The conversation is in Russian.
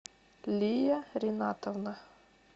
лия ринатовна